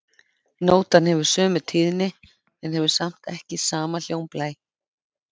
Nótan hefur sömu tíðni en hefur samt ekki sama hljómblæ.